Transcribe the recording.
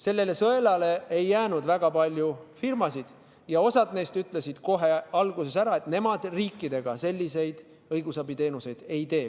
Sellele sõelale ei jäänud väga palju firmasid ja osa neist ütles kohe alguses ära, et nemad riikidele selliseid õigusabiteenuseid ei osuta.